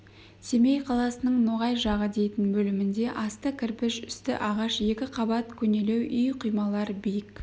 семей қаласының ноғай жағы дейтін бөлімінде асты кірпіш үсті ағаш екі қабат көнелеу үй құймалар биік